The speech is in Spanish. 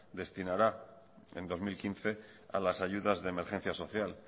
destinará en dos mil quince a las ayudas de emergencia social